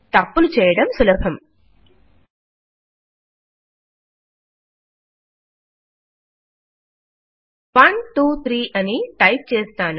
తప్పులు చేయడం సులభం 123 అని టైప్ చేస్తాను